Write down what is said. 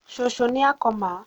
cũcũ nĩ akoma